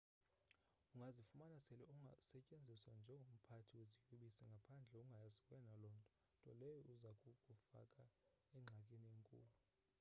ungazifumana sele usetyenziswa njengomphathi weziyobisi ngaphandle ungayazi wena lonto nto leyo eza kukufaka engxakini enkulu